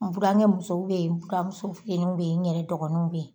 N burankɛ musow be yen, buramuso fitiniw be yen, n yɛrɛ dɔgɔninw be yen.